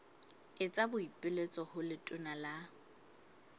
etsa boipiletso ho letona la